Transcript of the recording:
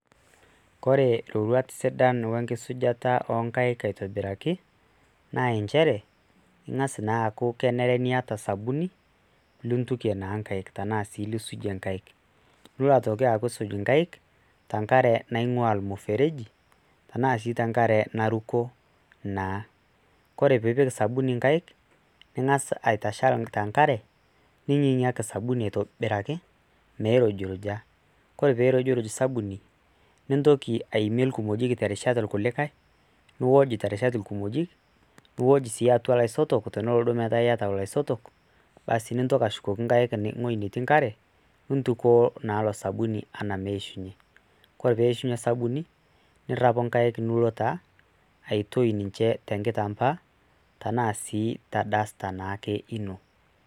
Ore rorwuat sida wenkisujata oo nkaik aitobiraki na njere ,ingas naa aku kenare niata osabuni lintukie naa nkaik tanaa ilo aku isuj nkaik te nkare naingua ormusereji tanaoshi tenkare naruko ore peipik osabuni nkaik ningasa aitashal tenkare, ningasa angingiaki osabuni ashu meirujuruja, ore peirujuruj osabuni nintoki aimie irkimojik terishat orkulikae, iwoj terishata orkimojik, niwoj sii tiatua loisotoi teneaku duo iyata loisotok basi nintoki ashukoki nkaik niwoj te nkare nintukoo na ilo sabuni ana ,ore peishunye osabuni ntau nkaek aitoe ninche te nkitambaa araahu te duster ino.